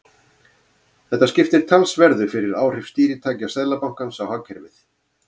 Þetta skiptir talsverðu fyrir áhrif stýritækja Seðlabankans á hagkerfið.